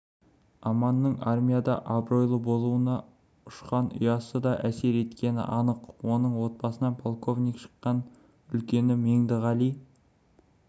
аманның армияда абыройлы болуына ұшқан ұясы да әсер еткені анық оның отбасынан полковник шыққан үлкені меңдіғали